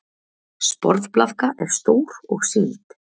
Sporðblaðka er stór og sýld.